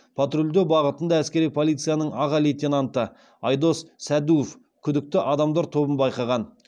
патрульдеу бағытында әскери полицияның аға лейтенанты айдос сәдуов күдікті адамдар тобын байқаған